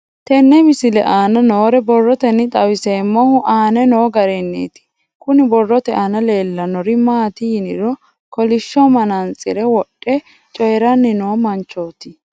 Tenne misile aana noore borroteni xawiseemohu aane noo gariniiti. Kunni borrote aana leelanori maati yiniro kollishsho manantsire wodhe coyiranni noo manchooti.